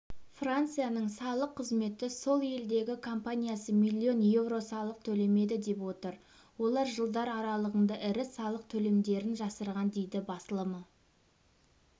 францияның салық қызметі сол елдегі компаниясы миллион евро салық төлемеді деп отыр олар жылдар аралығында ірі салық төлемдерін жасырған дейді басылымы